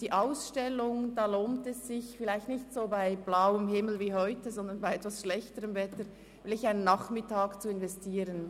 Es lohnt sich – vielleicht nicht bei so blauem Himmel wie heute, sondern bei etwas schlechterem Wetter –, einen Nachmittag zu investieren.